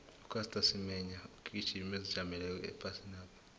ucaster semenya mgijimi ozijameleko ephasinapha